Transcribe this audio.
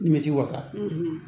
Nimisi wasa